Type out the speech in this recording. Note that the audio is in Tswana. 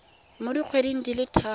mo dikgweding di le tharo